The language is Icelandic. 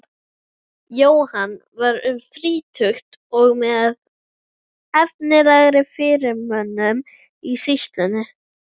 Jóhann var um þrítugt og með efnilegri fyrirmönnum í sýslunni.